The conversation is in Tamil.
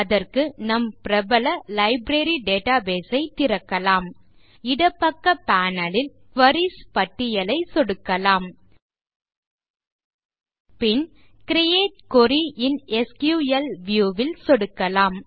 அதற்கு நம் பிரபல லைப்ரரி டேட்டாபேஸ் ஐ திறக்கலாம் இடப்பக்க பேனல் ல் குரீஸ் பட்டியலைச் சொடுக்கலாம் பின் create query in SQL view ல் சொடுக்கலாம்